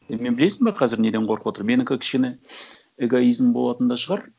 мен білесің бе қазір неден қорқып отырмын менікі кішкене эгоизм болатын да шығар